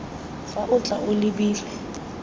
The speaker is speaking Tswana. fa o tla o lebile